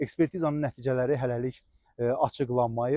Ekspertizanın nəticələri hələlik açıqlanmayıb.